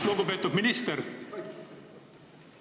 Lugupeetud minister!